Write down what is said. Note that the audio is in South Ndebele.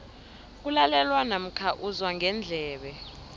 kulalelwa namkha uzwa ngendlebe